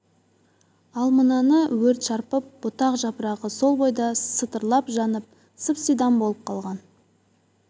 ал мынаны өрт шарпып бұтақ-жапырағы сол бойда сытырлап жанып сып-сидам болып қалған